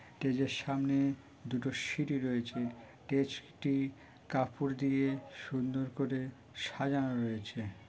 Stage এর সামনে দুটো সিঁড়ি রয়েছে স্টেজ টি কাপড় দিয়ে সুন্দর করে সাজানো রয়েছে ।